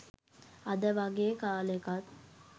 අද වගේ කාලෙකත්